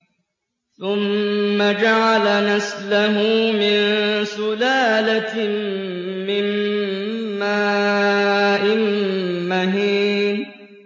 ثُمَّ جَعَلَ نَسْلَهُ مِن سُلَالَةٍ مِّن مَّاءٍ مَّهِينٍ